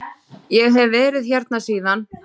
Ég hef verið hérna síðan.